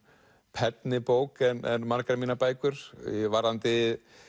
penni bók en margar mínar bækur varðandi